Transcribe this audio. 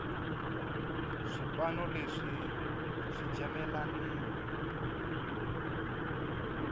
swipano leswi swi jamelanini